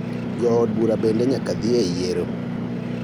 Jood bura bende nyaka dhi e yiero.